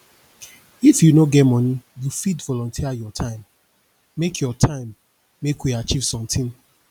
if you no get money you fit volunteer your time make your time make we achieve sometin